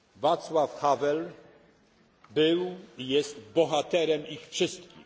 Václav Havel był i jest bohaterem ich wszystkich.